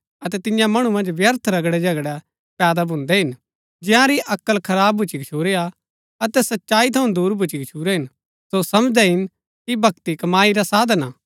अतै तियां मणु मन्ज व्यर्थ रगडेझगड़ै पैदा भून्दै हिन जिआंरी अक्ल खराब भुच्‍ची गछूरी हा अतै सच्चाई थऊँ दूर भुच्‍ची गच्छुरै हिन सो समझदै हिन कि भक्ति कमाई रा साधन हा